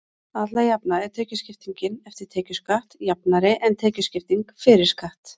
alla jafna er tekjuskiptingin „eftir tekjuskatt“ jafnari en tekjuskipting „fyrir skatt“